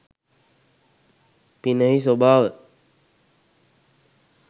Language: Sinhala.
පිනෙහි ස්වභාව